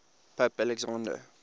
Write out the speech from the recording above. pope alexander